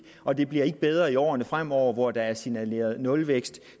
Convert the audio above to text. og det bliver ikke bedre i årene fremover hvor der er signaleret nulvækst